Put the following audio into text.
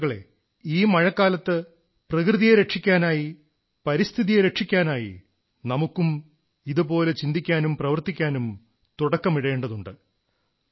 സുഹൃത്തുക്കളേ ഈ മഴക്കാലത്ത് പ്രകൃതിയെ രക്ഷിക്കാനായി പരിസ്ഥിതിയെ രക്ഷിക്കാനായി നമുക്കും ഇതുപോലെ ചിന്തിക്കാനും പ്രവർത്തിക്കാനും തുടക്കമിടേണ്ടതുണ്ട്